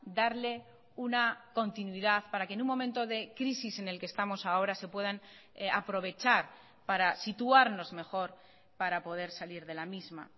darle una continuidad para que en un momento de crisis en el que estamos ahora se puedan aprovechar para situarnos mejor para poder salir de la misma